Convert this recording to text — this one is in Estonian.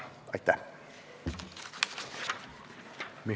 Aitäh!